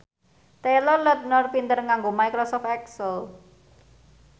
Taylor Lautner pinter nganggo microsoft excel